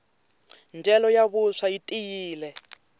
ndyelo ya vuswa yi tiyile